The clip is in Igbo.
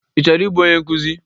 Ị chọrọ ibu onye nkuzi?